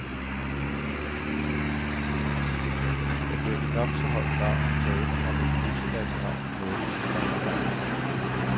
Der bliver i nok så høj grad tale om et multilateralt nordisk samarbejde.